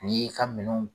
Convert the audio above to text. N'i y'i ka minɛnw